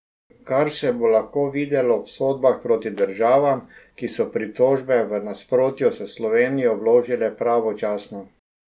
Kar se bo lahko videlo v sodbah proti državam, ki so pritožbe, v nasprotju s Slovenijo, vložile pravočasno.